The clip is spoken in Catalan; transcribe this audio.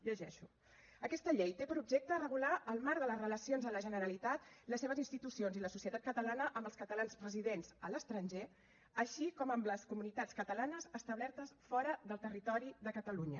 llegeixo aquesta llei té per objecte regular el marc de les relacions de la generalitat les seves institucions i la societat catalana amb els catalans residents a l’estranger així com amb les comunitats catalanes establertes fora del territori de catalunya